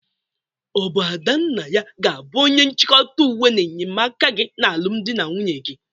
Ọ bụ Adannaya ga-abụ onye nchịkọta uwe na enyemaaka gị n'alụmdị gị?